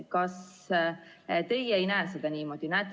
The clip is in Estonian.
Kas teie ei näe seda niimoodi?